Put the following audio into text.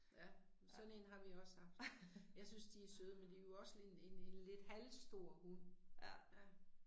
Ja. Sådan én har vi også haft. Jeg synes de er søde, men de er jo også en en lidt halvstor hund, ja